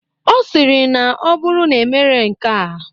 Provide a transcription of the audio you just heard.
Ọ sịrị na ọ bụrụ na emere nkea.